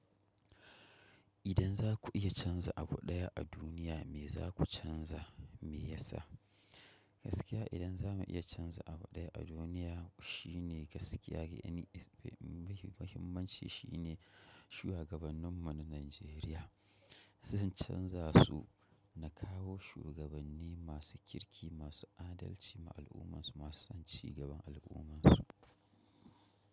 Idan za ku iya canza abu ɗaya a duniya me za ku canza me yasa? Gaskiya idan za mu iya canza abu ɗaya a duniya shine gaskiya, wani muhimmanci shine shugabannin mu na Najeriya. Zan canzasu na kawo shugabanni masu kirki masu adalci ma al'ummarsu masu cigaba da al'ummarsu.